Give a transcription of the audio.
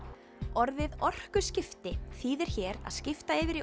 orðið orkuskipti þýðir hér að skipta yfir í